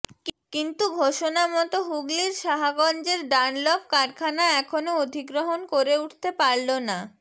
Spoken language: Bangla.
কিন্তু ঘোষণামতো হুগলির সাহাগঞ্জের ডানলপ কারখানা এখনও অধিগ্রহণ করে উঠতে পারল না